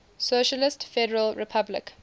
socialist federal republic